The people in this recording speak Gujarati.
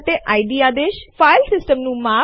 ચાલો આગામી આદેશ ઉપર જતાં પહેલાં સ્ક્રીન સાફ કરીએ